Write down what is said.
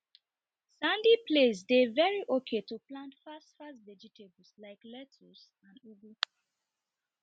sandy place dey very okay to plant fast fast vegetables like lettuce and ugu